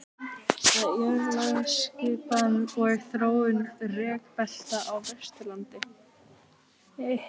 Jarðlagaskipan og þróun rekbelta á Vesturlandi.